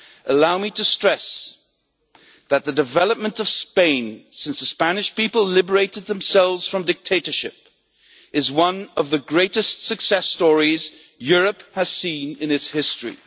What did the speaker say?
Allow me to stress that the development of Spain since the Spanish people liberated themselves from dictatorship is one of the greatest success stories Europe has seen in its history.